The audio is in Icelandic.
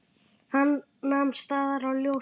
Hann nam staðar á ljósum.